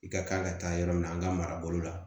I ka kan ka taa yɔrɔ min na an ka marabolo la